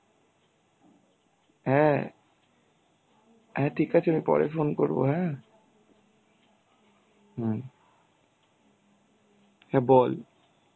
হ্যাঁ. হ্যাঁ ঠিক আছে. আমি পরে phone করবো. হ্যাঁ. হম . হ্যাঁ বল